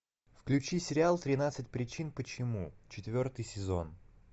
включи сериал тринадцать причин почему четвертый сезон